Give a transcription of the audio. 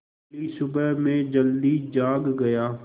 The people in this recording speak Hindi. अगली सुबह मैं जल्दी जाग गया